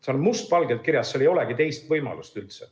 See on must valgel kirjas, seal ei olegi üldse teist võimalust.